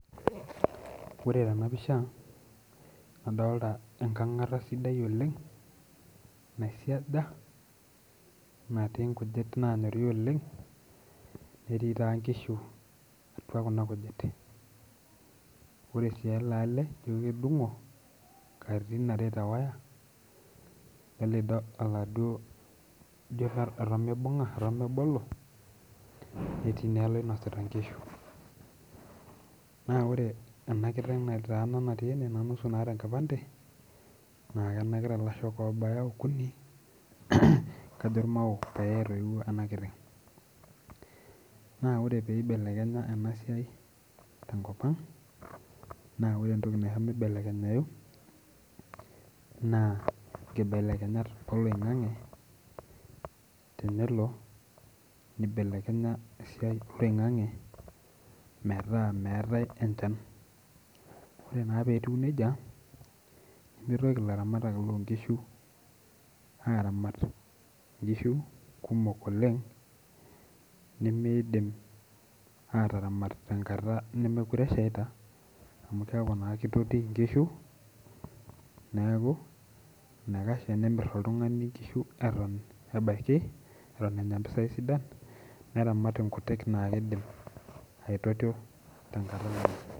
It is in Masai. Ore tena pisha nadalta enkang'ata sidai oleng naisiaja natii inkujit nanyori oleng netii taa inkishu atua kuna kujit ore sii ele ale ijio kedung'o katitin are tewaya lelido oladuo ijio eton mibung'a eton mebolo netii naa ele oinosita inkishu naa ore ena kiteng nataana natii ene naa nusu naata enkipande naa kenakita ilashok obaya okuni kajo irmao paye etoiwuo ena kiteng naa ore peibelekenya ena siai tenkop ang naa ore entoki naisho mibelekenyai naa inkibelekenyat oloing'ang'e tenelo nibelekenya esiai oloing'ang'e metaa meetae enchan ore naa petiu nejia nemitoki ilaramatak lonkishu aramat inkishu kumok oleng nemeidim ataramat tenkata nemekure eshaita amu keeku naa kitoti inkishu neeku enaikash tenemirr oltung'ani inkishu eton ebaiki eton enya impisai sidan neramat inkutik naa kidim aitotio tenkata olameyu.